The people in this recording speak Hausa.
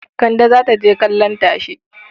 Kande za ta je kallon tashe.